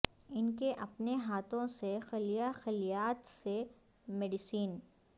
ان کے اپنے ہاتھوں سے خلیہ خلیات سے میڈیسن